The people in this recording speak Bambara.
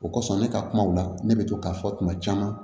O kosɔn ne ka kumaw la ne bɛ to k'a fɔ tuma caman